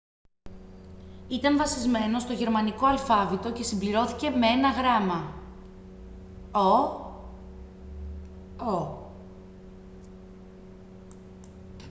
ήταν βασισμένο στο γερμανικό αλφάβητο και συμπληρώθηκε με ένα γράμμα [«õ / õ»]